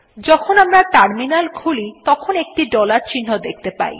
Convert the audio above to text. যখন আমরা টার্মিনাল খুলি তখন একটি ডলার চিহ্ন দেখতে পাই